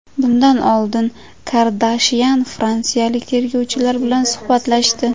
Bundan oldin Kardashyan fransiyalik tergovchilar bilan suhbatlashdi.